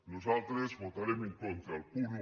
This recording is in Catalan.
nosaltres votarem en contra del punt un